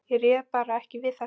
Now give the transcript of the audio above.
Ég réði bara ekki við þetta.